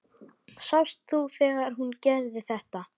Sástu þegar hún gerði þetta?